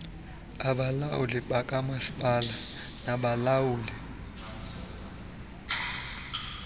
abalawuli bakamasipala nabalawuli